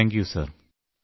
നന്ദി സർ